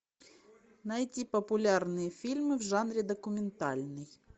найти популярные фильмы в жанре документальный